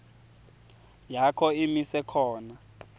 yakho imise khona